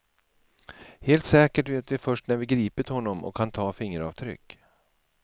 Helt säkert vet vi först när vi gripit honom och kan ta fingeravtryck.